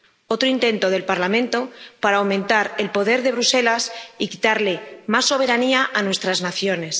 Otro intento del Parlamento para aumentar el poder de Bruselas y quitarle más soberanía a nuestras naciones.